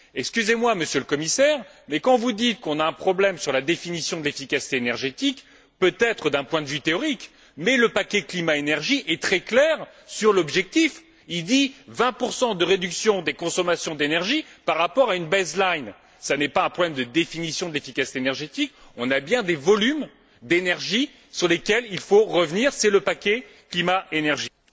Excusez moi, Monsieur le Commissaire, mais quand vous dites qu'on a un problème sur la définition de l'efficacité énergétique, c'est peut être vrai d'un point de vue théorique, mais le paquet climat énergie est très clair sur l'objectif, il dit 20 de réduction des consommations d'énergie par rapport à une base line Ce n'est pas un problème de définition de l'efficacité énergétique, on a bien des volumes d'énergie sur lesquels il faut revenir, c'est le paquet climat énergie.